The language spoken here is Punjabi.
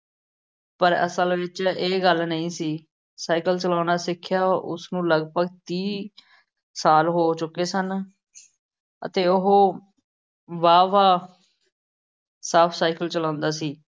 ਪਰ ਅਸਲ ਵਿੱਚ ਇਹ ਗੱਲ ਨਹੀਂ ਸੀ। ਸਾਈਕਲ ਚਲਾਉਣਾ ਸਿੱਖਿਆ ਉਸਨੂੰ ਲਗਭਗ ਤੀਹ ਸਾਲ ਹੋ ਚੁੱਕੇ ਸਨ ਅਤੇ ਉਹ ਵਾਹਵਾ ਸਾਫ ਸਾਈਕਲ ਚਲਾਉਂਦਾ ਸੀ।